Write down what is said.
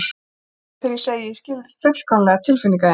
Trúðu mér þegar ég segi að ég skil fullkomlega tilfinningar þínar.